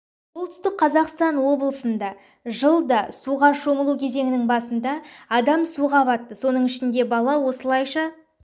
солтүстік қазақстан облысында жылда суға шомылу кезеңінің басында адам суға батты соның ішінде бала осылайша